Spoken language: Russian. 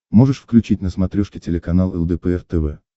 можешь включить на смотрешке телеканал лдпр тв